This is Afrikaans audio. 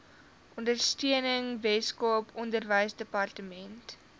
ondersteuning weskaap onderwysdepartement